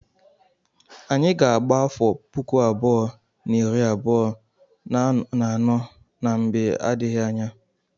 Anyị ga-aba afọ puku abụọ na iri abuo na anọ na mgbe na-adịghị anya.